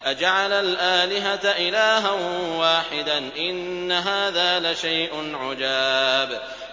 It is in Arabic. أَجَعَلَ الْآلِهَةَ إِلَٰهًا وَاحِدًا ۖ إِنَّ هَٰذَا لَشَيْءٌ عُجَابٌ